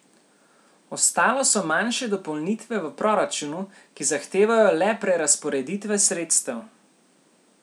Ostalo so manjše dopolnitve v proračunu, ki zahtevajo le prerazporeditve sredstev.